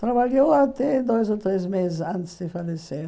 Trabalhou até dois ou três meses antes de falecer.